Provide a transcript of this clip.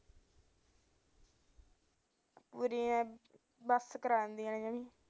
ਬਸ ਕਰਾ ਦਿੰਦੀਆਂ